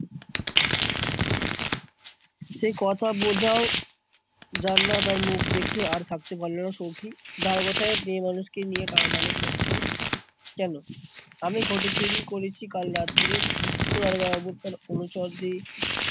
সে কথা বোজাও জাননা তার মুখ দেখে, আর থাকতে পারলোনা সৌখী। দারোগা সাহেব মেয়ে মানুষ কে নিয়ে টানাটানি করছেন কোনো? আমি ঘটি চুরি করেছি কাল রাত্রে দিগ্গো দারোগাবাবু তার অনুচরদের